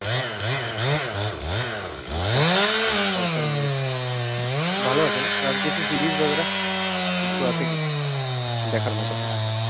আচ্ছা south এর movie ভালো আছে না, আর কিছু series বাগরহ, কিছু আছে কি দেখার মতো ?